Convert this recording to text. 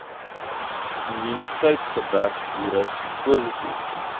immuniteitsgebrek virus positief